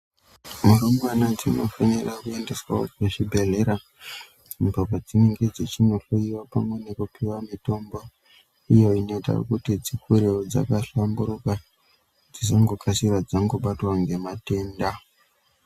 Rumbwana dzinofanira kuendeswawo kuzvibhedhlera kubva padzinenge dzichinohloyiwa pamwe nekupiwa mitombo iyo inoita kuti dzikurewo dzakahlamburuka dzisangokasira dzangobatwa ngematenda.